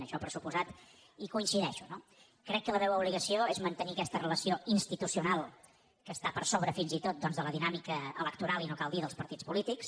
en això per descomptat hi coincideixo no crec que la meva obligació és mantenir aquesta relació institucional que està per sobre fins i tot doncs de la dinàmica electoral i no cal dir dels partits polítics